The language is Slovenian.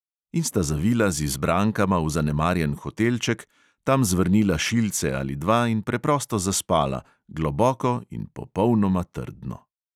In sta zavila z izbrankama v zanemarjen hotelček, tam zvrnila šilce ali dva in preprosto zaspala, globoko in popolnoma trdno.